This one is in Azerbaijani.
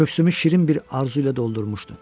Köksümü şirin bir arzu ilə doldurmuşdu.